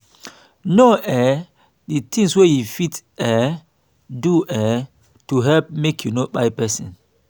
know um di things wey you fit um do um to help make you no kpai person